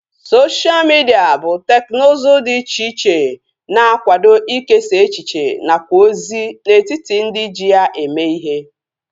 Sosha midia bụ teknụzu dị iche iche na-akwado ikesa echiche nakwa ozi n'etiti ndị ji ya eme ihe